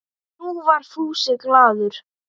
Nú var Fúsi glaður.